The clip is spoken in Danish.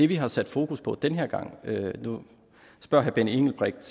vi har sat fokus på den her gang og nu spørger herre benny engelbrecht